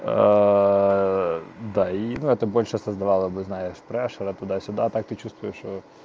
да и это больше создавала бы знаешь прешера туда-сюда так ты чувствуешь что